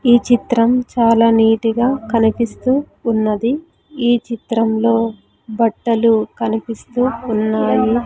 ఈ చిత్రం చాలా నీటి గా కనిపిస్తూ ఉన్నది ఈ చిత్రంలో బట్టలు కనిపిస్తూ ఉన్నాయి.